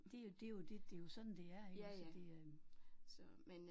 Det er jo det er jo det det er jo sådan det er iggås det øh